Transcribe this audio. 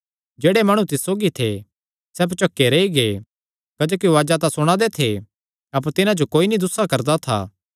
जेह्ड़े माणु तिस सौगी थे सैह़ भोचके रेई गै क्जोकि उआज़ा तां सुणांदे थे अपर तिन्हां जो कोई नीं दुस्सा करदा था